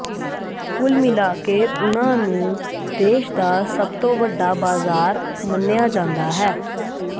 ਕੁੱਲ ਮਿਲਾ ਕੇ ਉਨ੍ਹਾਂ ਨੂੰ ਦੇਸ਼ ਦਾ ਸਭ ਤੋਂ ਵੱਡਾ ਬਾਜ਼ਾਰ ਮੰਨਿਆ ਜਾਂਦਾ ਹੈ